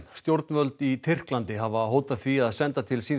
stjórnvöld í Tyrklandi hafa hótað því að senda til síns